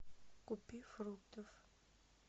купи фруктов